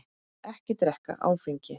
Ekki drekka áfengi.